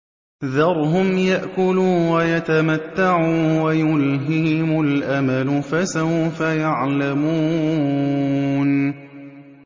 ذَرْهُمْ يَأْكُلُوا وَيَتَمَتَّعُوا وَيُلْهِهِمُ الْأَمَلُ ۖ فَسَوْفَ يَعْلَمُونَ